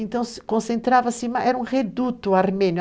Então, ce concentrava, era um reduto armênio.